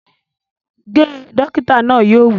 Ge! Dókítà náà yóò wí